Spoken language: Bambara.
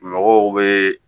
Mɔgɔw bɛ